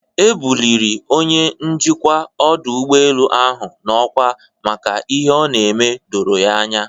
E bụlịrị Onye njikwa ọdụ ụgbọelu ahụ n'ọkwa maka n'ihe ọ n'eme doro ya anya.